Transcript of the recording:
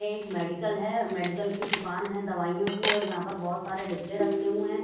एक मेडिकल है मेडिकल की दुकान है दवाइयों की और यहां पर बहोत सारे डिब्बे रखे हुए हैं।